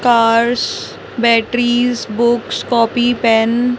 cars batteries books copy pen --